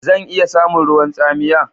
Zan iya samun ruwan tsamiya?